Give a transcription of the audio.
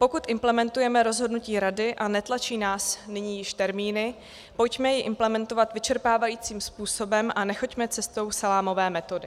Pokud implementujeme rozhodnutí Rady a netlačí nás nyní již termíny, pojďme ji implementovat vyčerpávajícím způsobem a nechoďme cestou salámové metody.